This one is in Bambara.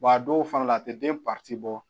a dɔw fana la a tɛ den bɔ